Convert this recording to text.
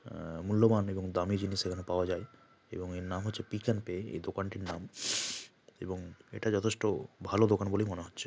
অ্যাঁ মূল্যবান এবং দামী জিনিস এখানে পাওয়া যায় এবং এর নাম হচ্ছে পিক-এন্-পে এই দোকানটির নাম এবং এটা যথেষ্ট ভালো দোকান বলেই মনে হচ্ছে ।